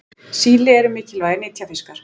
síli eru mikilvægir nytjafiskar